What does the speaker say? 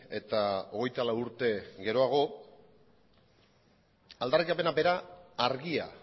eta hogeita lau urte geroago aldarrikapena bera argia